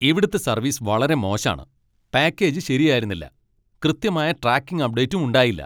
ഇവിടുത്തെ സര്വീസ് വളരെ മോശാണ്. പാക്കേജ് ശരിയായിരുന്നില്ല, കൃത്യമായ ട്രാക്കിംഗ് അപ്ഡേറ്റും ഉണ്ടായില്ല!